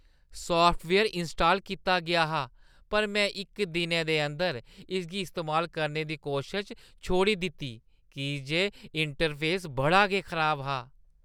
Software install कीता गेआ हा पर में इक दिनै दे अंदर इसगी इस्तेमाल करने दी कोशश छोड़ी दित्ती की जे इंटरफेस बड़ा गै खराब हा।